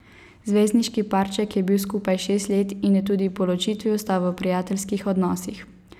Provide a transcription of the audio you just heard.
Zvezdniški parček je bil skupaj šest let in je tudi po ločitvi ostal v prijateljskih odnosih.